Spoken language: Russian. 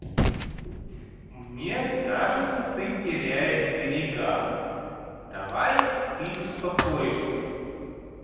мне кажется ты теряешь берега давай ты успокоишься